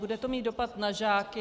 Bude to mít dopad na žáky.